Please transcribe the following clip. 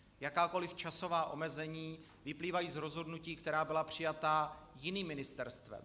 Jakákoli časová omezení vyplývají z rozhodnutí, která byla přijata jiným ministerstvem.